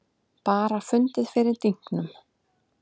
Bara fundið fyrir dynknum.